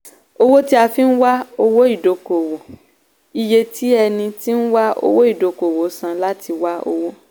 owó tí a fi nwá owó ìdókòwò - iye tí ẹni tí ń wá owó ìdókòwò san láti wá owó.